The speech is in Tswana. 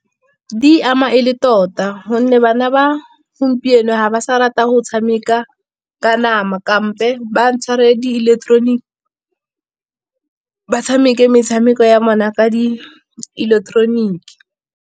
Di e ama e le tota, gonne bana ba gompieno ga ba sa rata go tshameka ka nama. Kampo ba ntshware di ileketeroniki, ba tshameke metshameko ya bona ka di ileketeroniki.